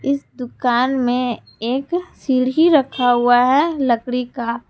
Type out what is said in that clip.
इस दुकान में एक सीढ़ी रखा हुआ है लकड़ी का ।